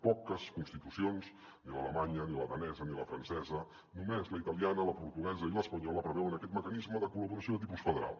poques constitucions ni l’alemanya ni la danesa ni la francesa només la italiana la portuguesa i l’espanyola preveuen aquest mecanisme de col·laboració de tipus federal